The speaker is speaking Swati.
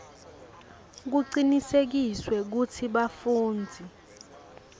kucinisekiswe kutsi bafundzi